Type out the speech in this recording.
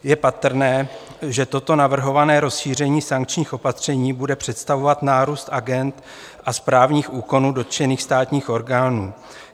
Je patrné, že toto navrhované rozšíření sankčních opatření bude představovat nárůst agend a správních úkonů dotčených státních orgánů.